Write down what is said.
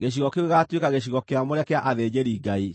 Gĩcigo kĩu gĩgaatuĩka gĩcigo kĩamũre kĩa athĩnjĩri-Ngai.